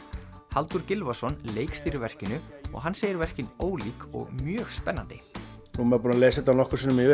Halldór Gylfason leikstýrir verkinu og hann segir verkin ólík og mjög spennandi nú er maður búinn að lesa þetta nokkrum sinnum yfir